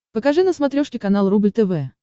покажи на смотрешке канал рубль тв